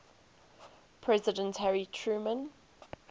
president harry truman